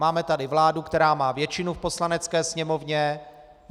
Máme tady vládu, která má většinu v Poslanecké sněmovně.